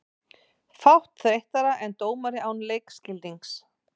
Fátt þreyttara en dómari án leikskilnings.